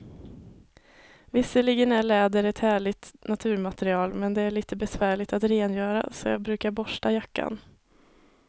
Visserligen är läder ett härligt naturmaterial, men det är lite besvärligt att rengöra, så jag brukar borsta jackan.